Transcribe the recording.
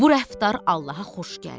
Bu rəftar Allaha xoş gəldi.